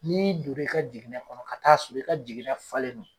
N'i dor'i ka jiginɛ kɔnɔ ka taa sɔrɔ i ka jiginɛ falen don